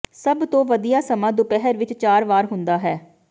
ਸਭ ਤੋਂ ਵਧੀਆ ਸਮਾਂ ਦੁਪਹਿਰ ਵਿੱਚ ਚਾਰ ਵਾਰ ਹੁੰਦਾ ਹੈ